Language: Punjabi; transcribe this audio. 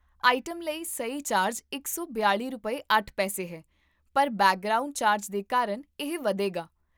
ਆਈਟਮ ਲਈ ਸਹੀ ਚਾਰਜ ਇਕ ਸੌ ਬਿਆਲ਼ੀ ਰੁਪਏ ਅੱਠ ਪੈਸੇ, ਹੈ, ਪਰ ਬੈਕਗ੍ਰਾਉਂਡ ਚਾਰਜ ਦੇ ਕਾਰਨ ਇਹ ਵਧੇਗਾ